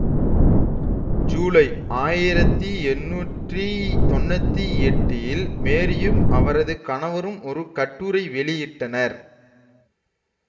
ஜூலை ஆயிரத்தி எண்ணூற்றி தொன்னூத்தி எட்டில் மேரீயும் அவரது கணவரும் ஒரு கட்டுரை வெளியிட்டனர்